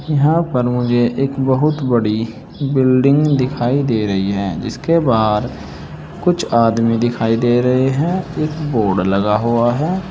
यहां पर मुझे एक बहुत बड़ी बिल्डिंग दिखाई दे रही है जिसके बहार कुछ आदमी दिखाई दे रहे है एक बोर्ड लगा हुआ है।